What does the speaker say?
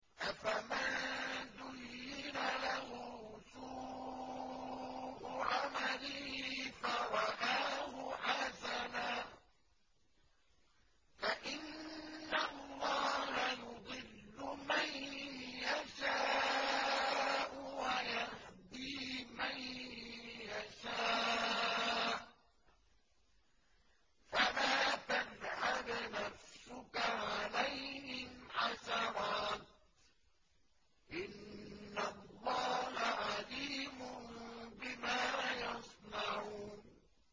أَفَمَن زُيِّنَ لَهُ سُوءُ عَمَلِهِ فَرَآهُ حَسَنًا ۖ فَإِنَّ اللَّهَ يُضِلُّ مَن يَشَاءُ وَيَهْدِي مَن يَشَاءُ ۖ فَلَا تَذْهَبْ نَفْسُكَ عَلَيْهِمْ حَسَرَاتٍ ۚ إِنَّ اللَّهَ عَلِيمٌ بِمَا يَصْنَعُونَ